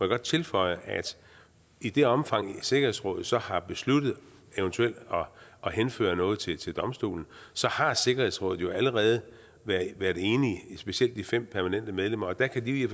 godt tilføje at i det omfang sikkerhedsrådet så har besluttet eventuelt at henføre noget til til domstolen har sikkerhedsrådet jo allerede været enige specielt de fem permanente medlemmer der kan de i